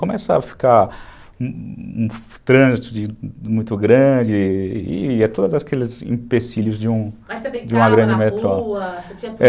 Começa a ficar um trânsito muito grande e é todos aqueles empecilhos de uma grande metrópole, mas você brincava na rua?